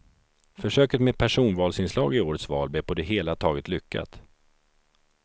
Försöket med personvalsinslag i årets val blev på det hela taget lyckat.